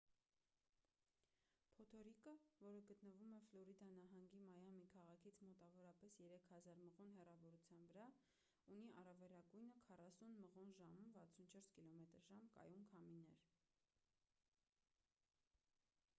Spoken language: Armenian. փոթորիկը որը գտնվում է ֆլորիդա նահանգի մայամի քաղաքից մոտավորապես 3000 մղոն հեռավորության վրա ունի առավելագույնը 40 մղոն/ժ 64 կմ/ժ կայուն քամիներ: